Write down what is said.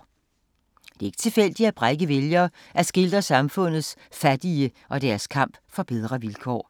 Det er ikke tilfældigt, at Brekke vælger at skildre samfundets fattige og deres kamp for bedre vilkår.